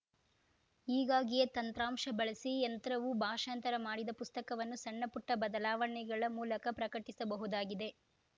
ಹೀಗಾಗಿಯೇ ತಂತ್ರಾಂಶ ಬಳಸಿ ಯಂತ್ರವು ಭಾಷಾಂತರ ಮಾಡಿದ ಪುಸ್ತಕವನ್ನು ಸಣ್ಣಪುಟ್ಟಬದಲಾವಣೆಗಳ ಮೂಲಕ ಪ್ರಕಟಿಸಬಹುದಾಗಿದೆ